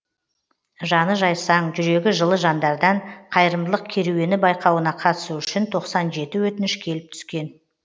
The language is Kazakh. жаны жайсаң жүрегі жылы жандардан қайырымдылық керуені байқауына қатысу үшін тоқсан жеті өтініш келіп түскен